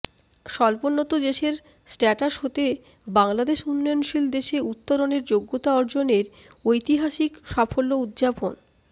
স্বল্পোন্নত দেশের স্ট্যাটাস হতে বাংলাদেশ উন্নয়নশীল দেশে উত্তরণের যোগ্যতা অর্জনের ঐতিহাসিক সাফল্য উদযাপন